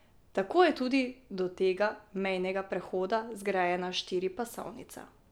Tako je tudi do tega mejnega prehoda zgrajena štiripasovnica.